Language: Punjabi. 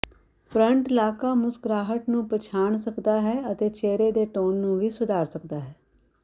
ਫਰੰਟਲਾਕਾ ਮੁਸਕਰਾਹਟ ਨੂੰ ਪਛਾਣ ਸਕਦਾ ਹੈ ਅਤੇ ਚਿਹਰੇ ਦੇ ਟੋਨ ਨੂੰ ਵੀ ਸੁਧਾਰ ਸਕਦਾ ਹੈ